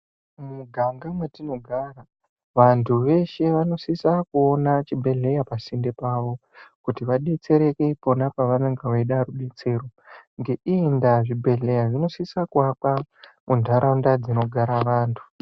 Mumiganga metinogara, vantu veshe vanosisa kuona chibhedhleya pasinde pavo, kuti vadetsereke pona pavanenge vaida rubetsero. Ngeiyi ndava zvibhedhleya zvinosisa kuakwa muntaraunda dzinogara vantu.